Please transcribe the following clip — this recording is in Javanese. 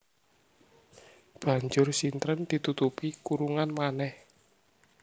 Banjur sintren ditutupi kurungan manèh